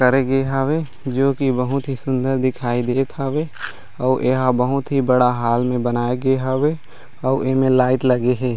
करे गे हावे जो की बहुत ही सुन्दर दिखाई देत हावे आऊ ए ह बहुत ही बड़ा हॉल में बनाए गे हावे आऊ एमे लाइट लगे हे।